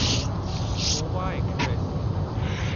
Goa express